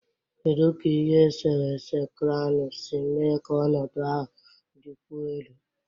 Kedu ka ihe esere ese kranu si mee ka ọnọdụ ahụ dịkwuo elu?